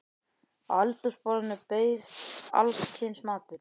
Á eldhúsborðinu beið alls kyns matur.